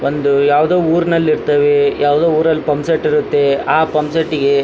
ಒಂದು ಯಾವುದೊ ಉರ್ನಲ್ಲಿ ಇರ್ತವೆ ಯಾವುದೊ ಊರಲ್ಲಿ ಪಂಸೆಟ್ ಇರುತ್ತೆ ಆಹ್ಹ್ ಪಂಸೆಟ್ ಗೆ--